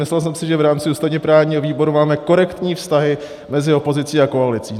Myslel jsem si, že v rámci ústavně-právního výboru máme korektní vztahy mezi opozicí a koalicí.